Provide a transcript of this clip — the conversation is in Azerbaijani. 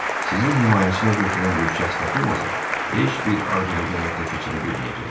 Sizi himayəsinə götürən bir şəxs tapılmasa, heç bir arzunuza həyata keçirə bilməyəcəksiniz.